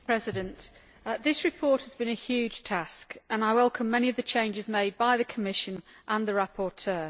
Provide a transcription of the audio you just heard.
Mr President, this report has been a huge task and I welcome many of the changes made by the Commission and the rapporteur.